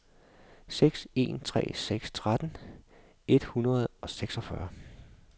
seks en tre seks tretten et hundrede og seksogfyrre